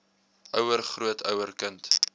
ouer grootouer kind